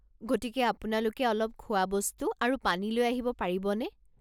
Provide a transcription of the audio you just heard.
গতিকে আপোনালোকে অলপ খোৱা বস্তু আৰু পানী লৈ আহিব পাৰিবনে?